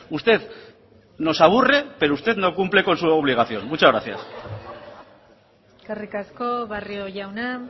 usted nos aburre pero usted no cumple con su obligación muchas gracias eskerrik asko barrio jauna